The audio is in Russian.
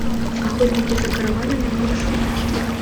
охотники за караванами можешь включить